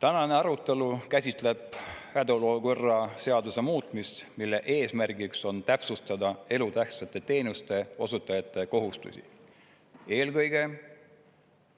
Tänane arutelu käsitleb hädaolukorra seaduse muutmist, mille eesmärgiks on täpsustada elutähtsate teenuste osutajate kohustusi, eelkõige